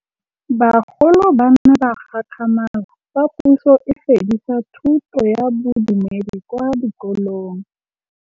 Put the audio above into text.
Bagolo ba ne ba gakgamala fa Pusô e fedisa thutô ya Bodumedi kwa dikolong.